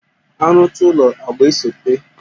After building, painting follows